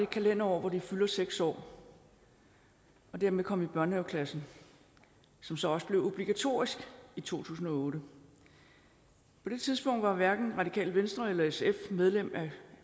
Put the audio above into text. kalenderår hvor de fylder seks år og dermed komme i børnehaveklassen som så også blev obligatorisk i to tusind og otte på det tidspunkt var hverken det radikale venstre eller sf medlem af